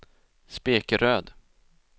Spekeröd